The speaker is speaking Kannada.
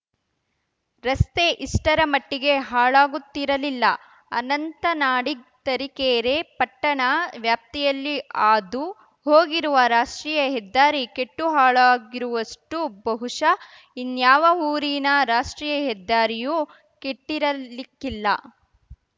ರಸ್ತೆ ಇಷ್ಟರ ಮಟ್ಟಿಗೆ ಹಾಳಾಗುತ್ತಿರಲಿಲ್ಲ ಅನಂತ ನಾಡಿಗ್‌ ತರೀಕೆರೆ ಪಟ್ಟಣ ವ್ಯಾಪ್ತಿಯಲ್ಲಿ ಹಾದು ಹೋಗಿರುವ ರಾಷ್ಟ್ರೀಯ ಹೆದ್ದಾರಿ ಕೆಟ್ಟು ಹಾಳಾಗಿರುವಷ್ಟುಬಹುಶ ಇನ್ಯಾವ ಊರಿನ ರಾಷ್ಟ್ರೀಯಹೆದ್ದಾರಿಯೂ ಕೆಟ್ಟಿರಲಿಕ್ಕಿಲ್ಲ